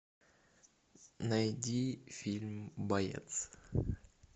найди фильм боец